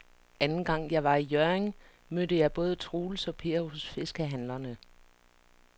Anden gang jeg var i Hjørring, mødte jeg både Troels og Per hos fiskehandlerne.